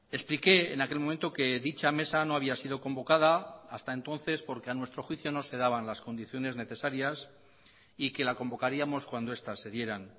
expliqué en aquel momento que dicha mesa no había sido convocada hasta entonces porque a nuestro juicio no se daban las condiciones necesarias y que la convocaríamos cuando estas se dieran